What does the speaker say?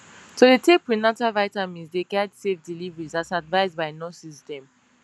to dey take prenatal vitamins dey guide safe delivery as advised by nurses dem